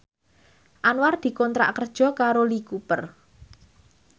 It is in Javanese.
Anwar dikontrak kerja karo Lee Cooper